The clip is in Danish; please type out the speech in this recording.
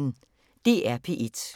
DR P1